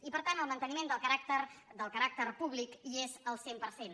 i per tant el manteniment del caràcter públic hi és al cent per cent